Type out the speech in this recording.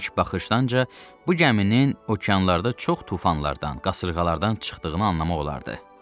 İlk baxışdanca bu gəminin okeanlarda çox tufanlardan, qasırğalardan çıxdığını anlamaq olardı.